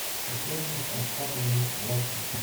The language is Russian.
татьяне асхатовне власенко